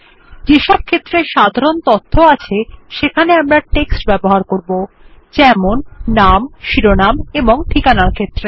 যেসব ক্ষেত্রে সাধারণ তথ্য আছে সেখানে টেক্সট ব্যবহার করুন যেমন নাম শিরোনাম ঠিকানার ক্ষেত্রে